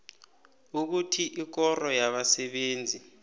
ukuthi ikoro yabasebenzi